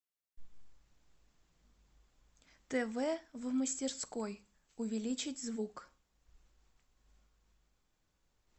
тв в мастерской увеличить звук